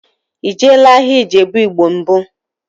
Ị jeela ahịa Ijebu igbo mbụ?